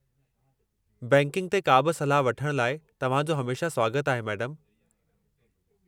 Banking ते का बि सलाह वठण लाइ तव्हां जो हमेशह स्वागतु आहे, मैडमु।